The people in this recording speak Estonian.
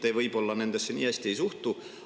Teie nendesse võib-olla nii hästi ei suhtu.